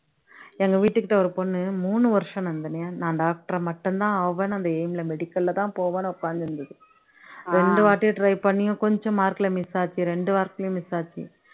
எங்க வீட்டுக்கிட்ட ஒரு பொண்ணு மூணு வருஷம் நந்தினி நான் doctor ஆ மட்டும் தான் ஆவேன்னு அந்த aim ல medical ல தான் போவேன்னு உக்காந்து இருந்துது ரெண்டு வாட்டி try பண்ணியும் கொஞ்சம் mark ல miss ஆச்சு ரெண்டு வாட்டியும் miss ஆச்சு